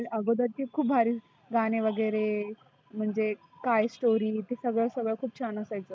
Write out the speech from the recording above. आगोदरचे खुप भारी गाणे वगैरे म्हणजे काय story सगळ सगळ खुप छान होतं असायचं.